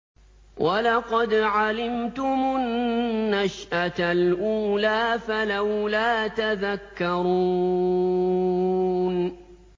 وَلَقَدْ عَلِمْتُمُ النَّشْأَةَ الْأُولَىٰ فَلَوْلَا تَذَكَّرُونَ